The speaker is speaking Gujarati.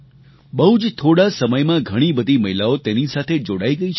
બહુ જ થોડા સમયમાં ઘણી બધી મહિલાઓ તેની સાથે જોડાઈ ગઈ છે